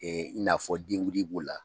i n'a fɔ denguli b'o la.